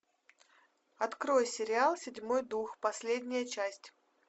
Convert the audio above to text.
открой сериал седьмой дух последняя часть